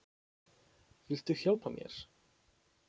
Viltu hjálpa mér?